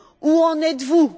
Où en êtes vous?